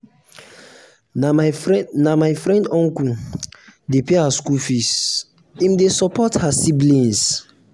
na my na my friend uncle um dey pay her skool fees im dey support her siblings. um